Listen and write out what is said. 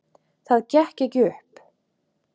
Það gekk ekki upp.